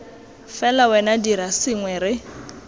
fela wena dira sengwe re